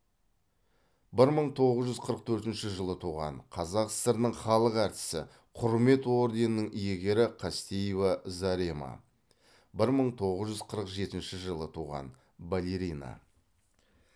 бір мың тоғыз жүз қырық төртінші жылы туған қазақ сср інің халық артисі құрмет орденінің иегері қастеева зарема бір мың тоғыз жүз қырық жетінші жылы туған балерина